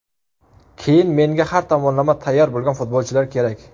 Keyin menga har tomonlama tayyor bo‘lgan futbolchilar kerak.